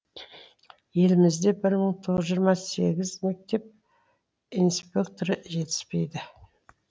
елімізде бір мың тоғыз жүз жиырма сегіз мектеп инспекторы жетіспейді